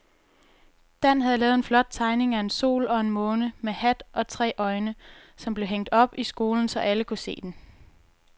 Dan havde lavet en flot tegning af en sol og en måne med hat og tre øjne, som blev hængt op i skolen, så alle kunne se den.